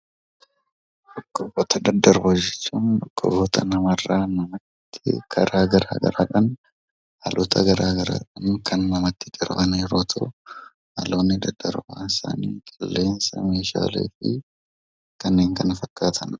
Dhukkuboonni daddarboon namoota irraa gara namootaatti fi dhalootaa gara dhalootaatti kan daddarbu yoo ta'u namoonni wantoota dhibee kana daddabarsaan kanneen akka qilleensaa fi meeshaalee garagaraa irraa of eeguu qabu.